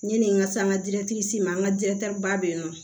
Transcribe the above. Yani n ka se an ka ma an ka ba bɛ yen nɔ